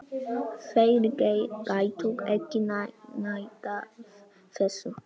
Þeir gætu ekki neitað þessu.